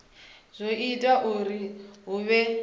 zwo ita uri hu vhe